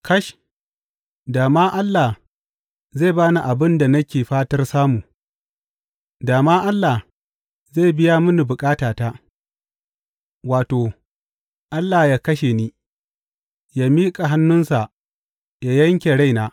Kash, da ma Allah zai ba ni abin da nake fatar samu, da ma Allah zai biya mini bukatata, wato, Allah yă kashe ni, yă miƙa hannunsa yă yanke raina!